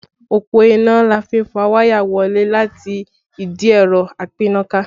Òpó iná ni a fi n fà wáyà wọ ilé láti ìdí ẹ̀rọ apínnáká